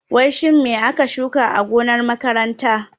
Wai su me aka shuka a gonar makaranta?